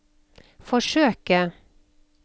forsøke